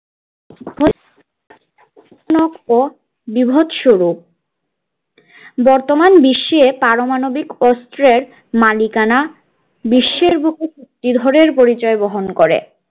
বীভৎস রূপ বর্তমান বিশ্বে পারমাণবিক অস্ত্রের মালিকানা বিশ্বের বুকে জেদ হরের পরিচয় বহন করে